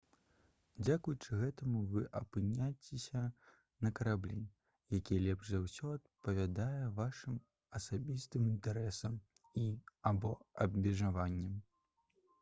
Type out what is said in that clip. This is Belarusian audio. дзякуючы гэтаму вы апыняцеся на караблі які лепш за ўсё адпавядае вашым асабістым інтарэсам і або абмежаванням